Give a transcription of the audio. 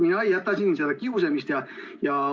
Aga vaat mina ei jäta kiusamist.